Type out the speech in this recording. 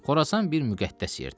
Xorasan bir müqəddəs yerdir.